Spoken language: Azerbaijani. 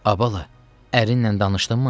A bala, ərinlə danışdınmı?